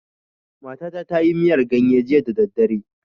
Matata ta yi miyar ganye jiya da daddare.